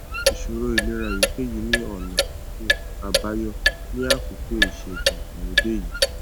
ìṣòro ìlera èyíkéyìí ní ọnà um àbáyọ ní àkókò ìṣègùn ìgbàlódé yìí